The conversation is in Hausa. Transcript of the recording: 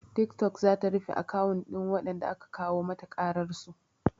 Tiktok zata rufe akawun ɗin waɗanda aka kawo mata ƙararsu